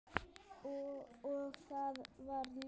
Og það varð ljós.